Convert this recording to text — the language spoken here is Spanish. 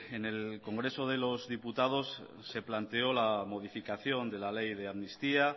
en el congreso de lo diputados se planteó la modificación de la ley de amnistía